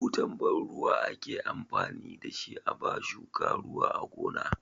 Butan ban ruwa ake amfani da shi a ba shuka ruwa a gona.